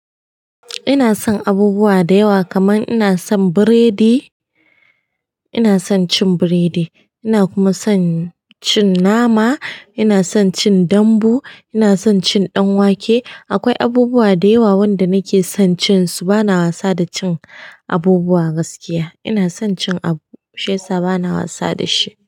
Ina son abubuwa da yawa kaman ina son biredi, ina son cin biredi, ina kuma son cin nama, ina son cin dambu, ina son cin ɗanwake. Akwai abubuwa da yawa wanda nake son cin su bana wasa da cin abubuwa gaskiya. Ina son cin abu shiyasa bana wasa da shi.